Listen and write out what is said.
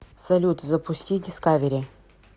салют запусти дискавери